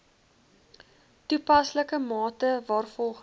toepaslike mate waarvolgens